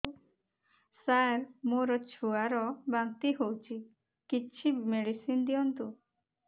ସାର ମୋର ଛୁଆ ର ବାନ୍ତି ହଉଚି କିଛି ମେଡିସିନ ଦିଅନ୍ତୁ